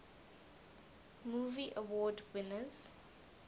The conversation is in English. movie award winners